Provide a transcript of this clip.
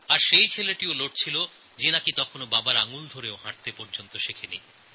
আর সেইসব ছেলেরা লড়েছে যারা এখনও বাবার হাত ধরে হাঁটাও শেখে নি